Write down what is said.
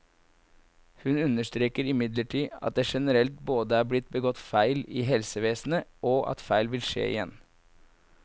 Hun understreker imidlertid at det generelt både er blitt begått feil i helsevesenet, og at feil vil skje igjen.